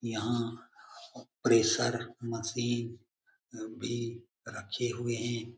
यहाँ pressure machine भी रखे हुए हैं।